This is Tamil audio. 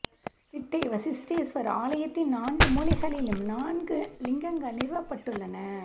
திட்டை வசிஷ்டேஸ்வர் ஆலய த்தின் நான்கு மூலைகளிலும் நான்கு லிங்கங்கள் நிறுவப்பட்டுள்ளன